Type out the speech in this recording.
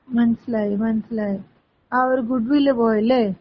മനസ്സിലായി മനസ്സിലായി. ആ ഒരു ഗുഡ് വില്ല് പോയല്ലേ?